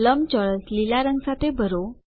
લંબચોરસ લીલા રંગ સાથે ભરો